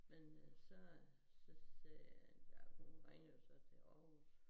Men øh så så sagde ja hun ringede jo så til Aarhus